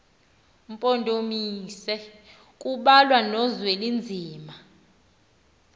mpondomise kubalwa nozwelinzima